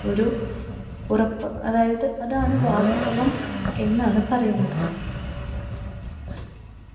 ഒരു ഉറപ്പ് അതായത് അതാണ് വാസ്തവം എന്നാണ് പറയുന്നത്.